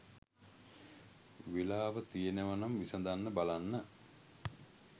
වෙලාව තියෙනව නම් විසඳන්න බලන්න